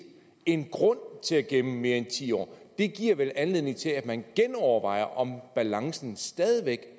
en grund til at gemme mere end ti år det giver vel anledning til at man genovervejer om balancen stadig væk